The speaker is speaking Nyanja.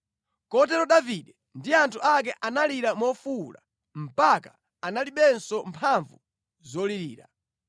Kotero Davide ndi anthu ake analira mofuwula mpaka analibenso mphamvu zolirira.